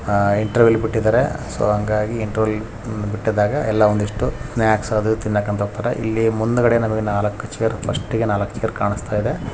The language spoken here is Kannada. ಇಂಟರ್ವಲ್ ಬಿಟ್ಟಿದಾರೆ ಸೊ ಹಾಗಾಗಿ ಇಂಟರ್ವಲ್ ಬಿಟ್ಟಾಗ ಸ್ನಾಕ್ಸ್ ತಿನ್ನಾಕ್ ಹೋಗತಾರ್ ಇಲ್ಲಿ. ಮುಂದ ನಾಲಕು ಚೇರ್ ಫಸ್ಟ್ ಗೆ ನಾಲಕ್ ಚೇರ್ ಕಾಣಸ್ತಾಇದೆ.